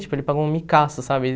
Tipo, ele pagou um micaço, sabe?